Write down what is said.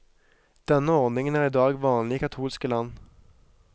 Denne ordningen er i dag vanlig i katolske land.